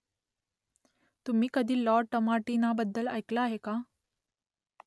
तुम्ही कधी लॉ टमाटिनाबद्दल ऐकलं आहे का ?